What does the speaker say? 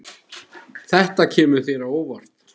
Þetta kemur þér á óvart.